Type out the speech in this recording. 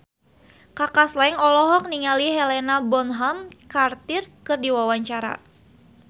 Kaka Slank olohok ningali Helena Bonham Carter keur diwawancara